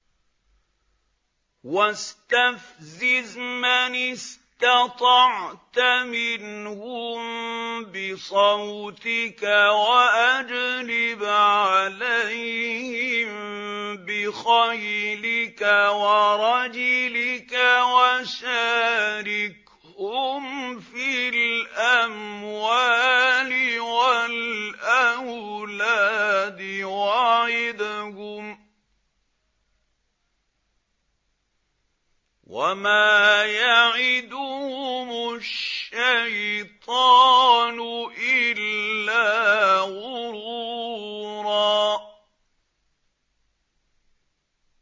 وَاسْتَفْزِزْ مَنِ اسْتَطَعْتَ مِنْهُم بِصَوْتِكَ وَأَجْلِبْ عَلَيْهِم بِخَيْلِكَ وَرَجِلِكَ وَشَارِكْهُمْ فِي الْأَمْوَالِ وَالْأَوْلَادِ وَعِدْهُمْ ۚ وَمَا يَعِدُهُمُ الشَّيْطَانُ إِلَّا غُرُورًا